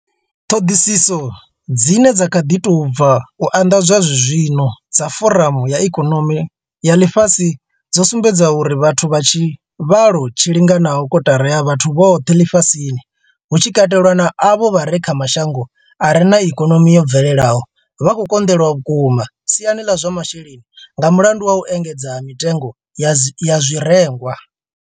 Ṱhoḓisiso dzine dza kha ḓi tou bva u anḓadzwa zwene zwino dza vha Foramu ya Ikonomi ya Ḽifhasi dzo sumbedza uri vhathu vha tshivhalo tshi linganaho kotara ya vhathu vhoṱhe ḽifhasini, hu tshi katelwa na avho vha re kha mashango a re na ikonomi yo bvelelaho, vha khou konḓelwa vhukuma siani ḽa zwa masheleni nga mulandu wa u engedzea ha mitengo ya zwirengwa.